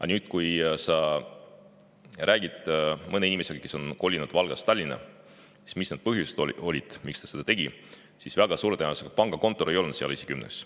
Aga kui sa räägid mõne inimesega, kes on kolinud Valgast Tallinna, ja küsid, mis need põhjused olid, miks ta seda tegi, siis väga suure tõenäosusega pangakontor ei ole esikümnes.